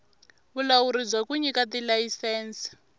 vulawuri bya ku nyika tilayisense